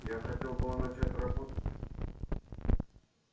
я хотел было начать работать